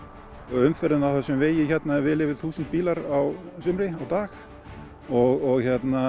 umferðin á þessum vegi er vel yfir þúsund bílar á sumrin á dag og